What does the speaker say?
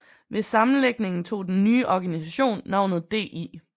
Ved sammenlægningen tog den nye organisation navnet DI